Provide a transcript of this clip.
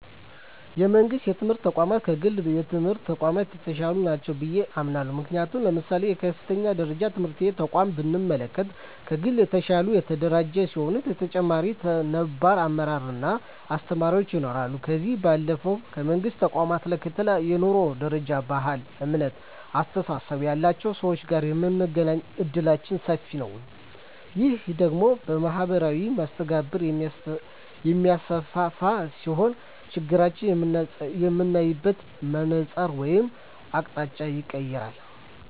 የመንግስት የትምህርት ተቋማት ከግል የትምህርት ተቋማት የተሻሉ ናቸው ብየ አምናለሁ። ምክንያቱም ለምሳሌ የከፍተኛ ደረጃ ትምህርት ተቋምን ብንመለከት ከግል የተሻለ የተደራጀ ሲሆን በተጨማሪም ነባር አመራር እና አስተማሪዎች ይኖረዋል። ከዚህ ባለፈም የመንግስት ተቋማት ላይ ከተለያየ የኑሮ ደረጃ፣ ባህል፣ እምነት እና አስተሳሰብ ያላቸው ሰወች ጋር የመገናኘት እድላችን ሰፊ ነዉ። ይህ ደግሞ ማህበራዊ መስተጋብርን የሚያሰፋ ሲሆን ነገሮችን የምናይበትን መነፀር ወይም አቅጣጫንም ይቀየራል።